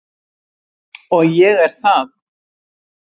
Og ég er það.